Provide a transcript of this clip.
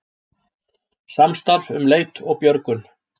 Samstarf um leit og björgun